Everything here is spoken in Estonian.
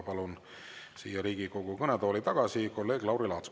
Palun siia Riigikogu kõnetooli tagasi kolleeg Lauri Laatsi.